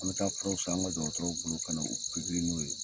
An bɛ taa furaw san an ka dɔgɔtɔrɔw bolo kana u pikiri n'o ye.